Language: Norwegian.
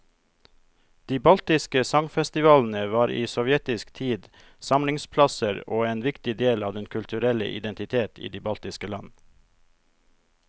De baltiske sangfestivalene var i sovjetisk tid samlingsplasser og en viktig del av den kulturelle identitet i de baltiske land.